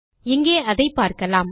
இங்கே அதை பார்க்கலாம்